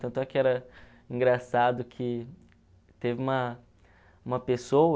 Tanto é que era engraçado que teve uma uma pessoa